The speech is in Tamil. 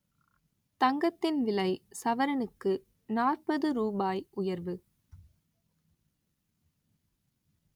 தங்கத்தின் விலை சவரனுக்கு நாற்பது ரூபாய் உயர்வு